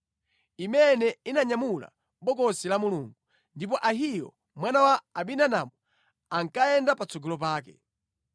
imene inanyamula Bokosi la Mulungu, ndipo Ahiyo mwana wa Abinadabu ankayenda patsogolo pake.